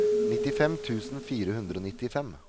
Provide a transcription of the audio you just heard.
nittifem tusen fire hundre og nittifem